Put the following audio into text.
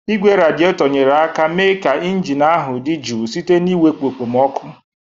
Igwe radietor nyere aka mee ka injin ahụ dị jụụ site n'iwepụ okpomọkụ.